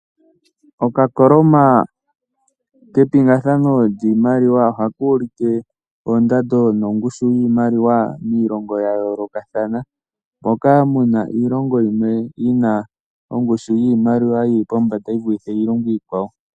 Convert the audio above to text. Okakoloma kepingathano lyiimaliwa ohaka ulike oondando nongushu yiimaliwa miilongo ya yoolokathana, moka mu na iilongo yimwe yi na ongushu yiimaliwa yi li pombanda yi vulithe iilongo iikwawo.